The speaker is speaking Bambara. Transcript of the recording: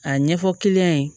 A ɲɛfɔ ye